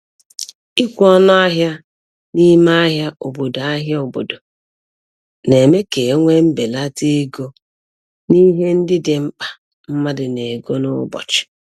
Ikwe ọnụ ahịa n'ime ahịa obodo ahịa obodo na-eme ka e nwee mbelata ego n'ihe ndị dị mkpa mmadụ na-ego n'ụbọchị